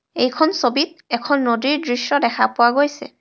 এইখন ছবিত এখন নদীৰ দৃশ্য দেখা পোৱা গৈছে.